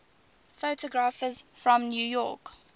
photographers from new york